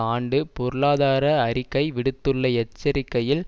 ஆண்டு பொருளாதார அறிக்கை விடுத்துள்ள எச்சரிக்கையில்